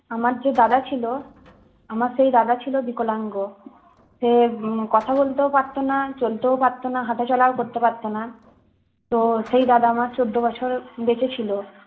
আমার যে দাদা ছিল আমার সেই দাদা ছিল বিকলাঙ্গ সে উম কথা বলতেও পারতোনা চলতেও পারত না হাঁটাচলাও করতে পারত না তো সেই দাদা আমার চোদ্দ বছর বেঁচে ছিল